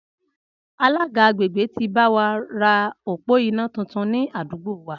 Alága àgbègbè ti báwa ra òpó iná tuntun ni àdúgbò wa